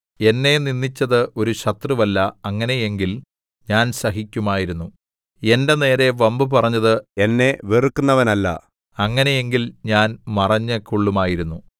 എന്നെ നിന്ദിച്ചത് ഒരു ശത്രുവല്ല അങ്ങനെയെങ്കിൽ ഞാൻ സഹിക്കുമായിരുന്നു എന്റെ നേരെ വമ്പ് പറഞ്ഞത് എന്നെ വെറുക്കുന്നവനല്ല അങ്ങനെയെങ്കിൽ ഞാൻ മറഞ്ഞുകൊള്ളുമായിരുന്നു